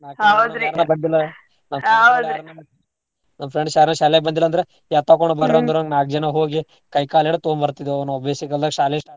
ನಾಕ್ ದಿನಾ ನನ್ನ್ friends ಯಾರರ ಶಾಲ್ಯಾಗ್ ಬಂದಿಲ್ಲ ಅಂದ್ರ ಎತ್ತಾಕೊಂಡ್ ನಾಕ್ ಜನಾ ಹೋಗಿ ಕೈ ಕಾಲ್ ಹಿಡದ್ ತೊಂಬರ್ತಿದ್ವಿ ಅವ್ನ್ ಬ್ಯಾಸಿಗ್ ಬಂದಾಗ್ ಶಾಲೆ.